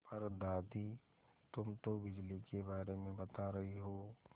पर दादी तुम तो बिजली के बारे में बता रही हो